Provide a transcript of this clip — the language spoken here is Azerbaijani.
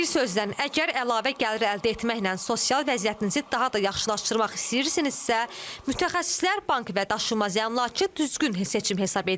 Bir sözlə, əgər əlavə gəlir əldə etməklə sosial vəziyyətinizi daha da yaxşılaşdırmaq istəyirsinizsə, mütəxəssislər bank və daşınmaz əmlakı düzgün seçim hesab edir.